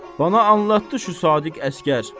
Bana anlattı şu sadiq əsgər.